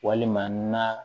Walima na